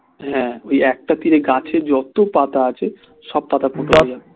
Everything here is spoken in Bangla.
হ্যাঁ ওই একটা তীরে গাছে যত পাতা আছে সব পাতা ফুটো হয়ে যাবে